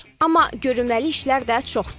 Amma görünməli işlər də çoxdur.